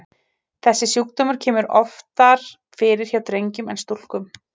Þessi sjúkdómur kemur oftar fyrir hjá drengjum en stúlkum.